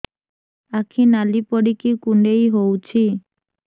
ଆଖି ନାଲି ପଡିକି କୁଣ୍ଡେଇ ହଉଛି